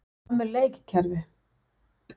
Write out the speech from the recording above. Hvað með leikkerfi?